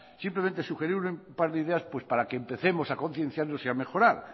simplemente sugerir un par de ideas para que empecemos a concienciarnos y a mejorar